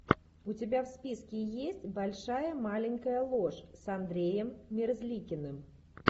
у тебя в списке есть большая маленькая ложь с андреем мерзликиным